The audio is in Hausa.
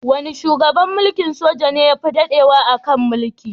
Wane shugaban mulkin soja ne yafi daɗewa a kan mulki?